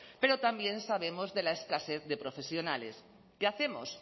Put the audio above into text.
pero también sabemos de la escasez de profesionales qué hacemos